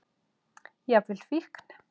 Jafnvel fíkn.